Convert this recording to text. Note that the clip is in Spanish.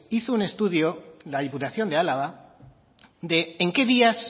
hizo un estudio la diputación de álava de en qué días